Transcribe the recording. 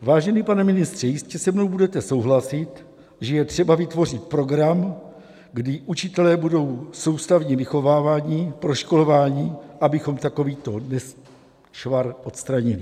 Vážený pane ministře, jistě se mnou budete souhlasit, že je třeba vytvořit program, kdy učitelé budou soustavně vychováváni, proškolováni, abychom takovýto nešvar odstranili.